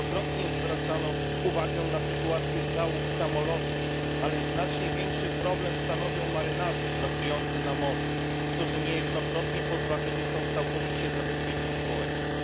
Wielokrotnie zwracano uwagę na sytuację załóg samolotów, ale znacznie większy problem stanowią marynarze pracujący na morzu, którzy niejednokrotnie pozbawieni są całkowicie zabezpieczeń społecznych.